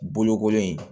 Bolokoli